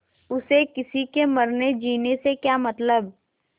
उसे किसी के मरनेजीने से क्या मतलब